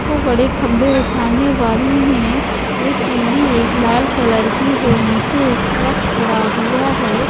वो बड़े खंभे उठाने वाली हैं एक पीली एक लाल कलर की है नीचे एक ट्रक खड़ा हुआ है।